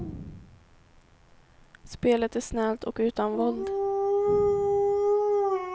Spelet är snällt och utan våld.